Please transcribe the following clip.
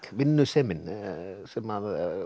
vinnusemin sem